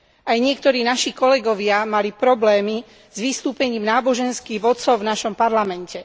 Aj niektorí naši kolegovia mali problémy s vystúpením náboženských vodcov v našom parlamente.